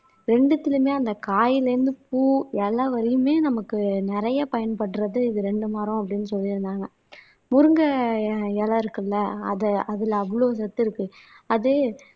ரெண்டுத்திலயுமே அந்த காயிலிருந்து பூ, இலை வரையுமே நமக்கு நிறைய பயன்படுறது இந்த ரெண்டு மரம் அப்படின்னு சொல்லியிருந்தாங்க முருங்கை இலை இருக்குல்லே அத அதுல அவ்ளோ சத்து இருக்கு அது